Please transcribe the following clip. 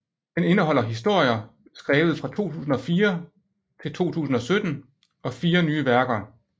Den indeholder historier skrevet fra 2004 til 2017 og fire nye værker